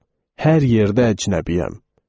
Hər yerdə əcnəbiyəm.